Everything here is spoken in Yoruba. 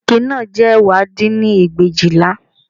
Ike náà jẹ́ ẹ̀wá dín ní ẹgbẹ̀éjìlá